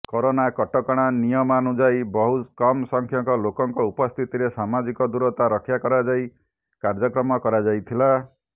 corona କଟକଣା ନିୟମାନୁଯାଇ ବହୁ କମ ସଂଖ୍ୟକ ଲୋକଙ୍କ ଉପସ୍ଥିତିରେ ସାମାଜିକ ଦୁରତା ରକ୍ଷା କରାଯାଇ କାର୍ଯ୍ୟକ୍ରମ କରାଯାଇଥିଲା